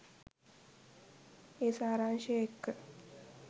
ඒ සාරාංශය එක්ක